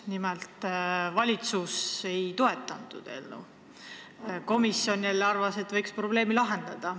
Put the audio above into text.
Nimelt, valitsus ei toeta eelnõu, komisjon jälle arvas, et võiks probleemi lahendada.